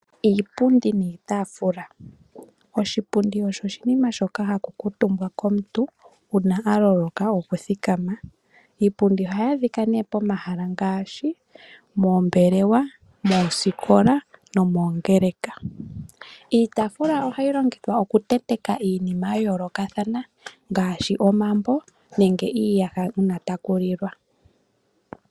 Iipundi niitaafula. Oshipundi osho oshinima shoka haku kuutumbwa komuntu uuna aloloka okuthikama. Iipundi ohayi adhika nee pomahala ngaashi, moombelewa, moosikola nomoongeleka. Iitaafula ohayi longithwa okutentekwa iinima yayoolokathana ngaashi omambo nenge iiyaha uuna takulilwa.